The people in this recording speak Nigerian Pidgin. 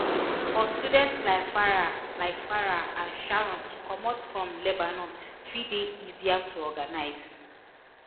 for students like farai like farai and sharon to comot from lebanon fit dey easier to organise